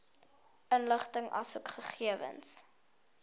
inligting asook gegewens